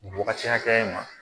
Nin wagati hakɛya in ma